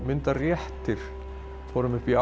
réttir fórum upp í